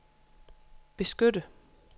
beskytte